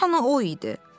Deyəsən o idi.